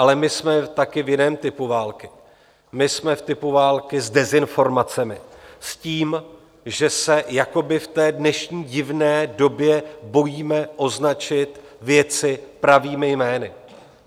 Ale my jsme taky v jiném typu války, my jsme v typu války s dezinformacemi, s tím, že se jakoby v té dnešní divné době bojíme označit věci pravými jmény.